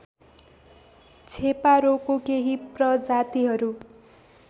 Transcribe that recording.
छेपारोको केही प्रजातिहरू